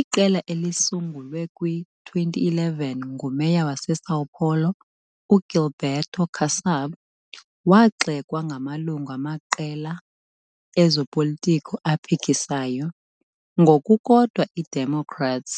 Iqela, elisungulwe kwi-2011 nguMeya waseSão Paulo uGilberto Kassab, wagxekwa ngamalungu amaqela ezopolitiko aphikisayo, ngokukodwa i-Democrats,